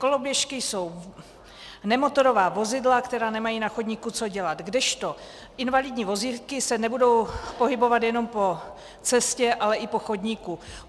Koloběžky jsou nemotorová vozidla, která nemají na chodníku co dělat, kdežto invalidní vozíky se nebudou pohybovat jenom po cestě, ale i po chodníku.